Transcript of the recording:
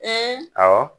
awɔ